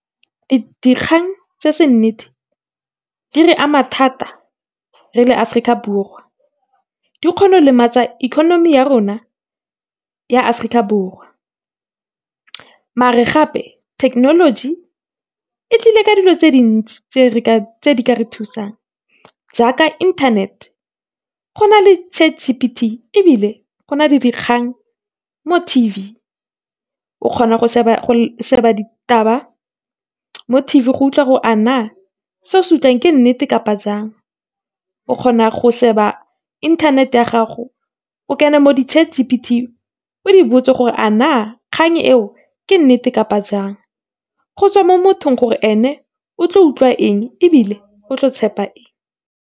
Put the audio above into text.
Dikgang tse seng nnete di re ama thata re le Aforika Borwa. Di kgona go lematsa economy ya rona ya Aforika Borwa, mara gape technology e tlile ka dilo tse dintsi tse di ka re thusang jaaka internet-e. Gona le ChatGTP, ebile gona le dikgang mo TV o kgona go sheba ditaba mo TV go utlwa gore a na se o se utlwang ke nnete kapa jang. O kgona go sheba internet-e ya gago, o kene mo di-ChatGTP, o di botse gore a na ke nnete kapa jang, go tswa mo mothong gore ene otlo utlwa eng ebile otlo tshepa eng.